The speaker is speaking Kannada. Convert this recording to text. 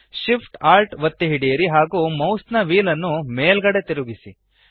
Shift Alt ಒತ್ತಿ ಹಿಡಿಯಿರಿ ಹಾಗೂ ಮೌಸ್ನ ವ್ಹೀಲ್ ನ್ನು ಮೇಲ್ಗಡೆಗೆ ತಿರುಗಿಸಿ